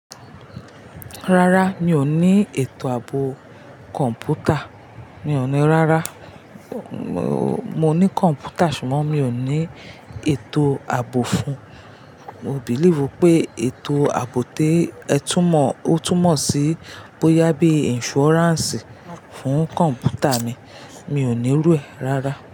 Rárá mi ò ní ètò ààbò kọ̀m̀pútà, mi ò ní rárá. Mo ní kọ̀m̀pútà ṣùgbọ́n mi ò ní ètò ààbò fún un. Mo believe pé ètò ààbò té ẹ tú mọ̀, ó tú mọ̀ sí bó yá bí insurance fún kọ̀m̀pútà mi, mi ò ní irú ẹ̀ rárá.